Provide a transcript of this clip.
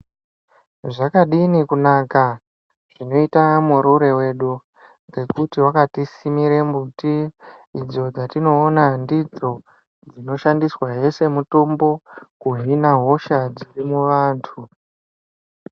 Zvakadini kunaka zvinoita Murure wedu, ngekuti wakatisimire miti idzo dzatinoona ndidzo dzinoshandiswahe semitombo kuhine hosha dziri muvantu.